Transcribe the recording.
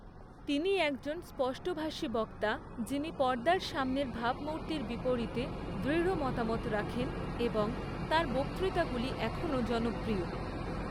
তিনি একজন স্পষ্টভাষী বক্তা যিনি পর্দার সামনের ভাবমূর্তির বিপরীতে দৃঢ় মতামত রাখেন এবং তাঁর বক্তৃতাগুলি এখনও জনপ্রিয়।